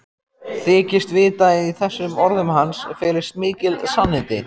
Þykist vita að í þessum orðum hans felist mikil sannindi.